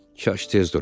Kaş tez dura.